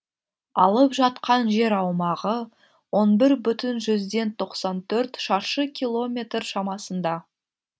алып жатқан жер аумағы он бір бүтін жүзден тоқсан төрт шаршы километр шамасында